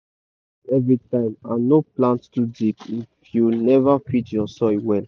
no plant everytime and no plant too deep if you never feed ur soil well.